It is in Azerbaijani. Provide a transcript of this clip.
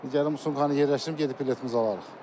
İndi gəlib çamadanı yerləşdirim, gedib biletimizi alarıq.